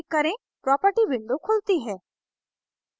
property window खुलती है